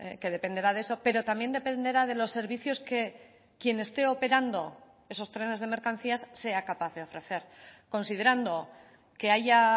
que dependerá de eso pero también dependerá de los servicios que quien esté operando esos trenes de mercancías sea capaz de ofrecer considerando que haya